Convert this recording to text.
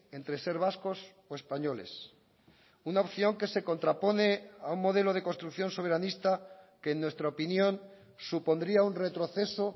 entre ser vascos o españoles una opción que se contrapone a un modelo de construcción soberanista que en nuestra opinión supondría un retroceso